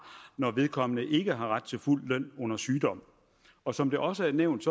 når vedkommende ikke har ret til fuld løn under sygdom og som det også er nævnt